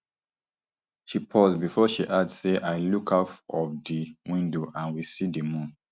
she pause bifor she add say i look out of di window and we see di moon